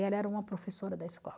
E ela era uma professora da escola.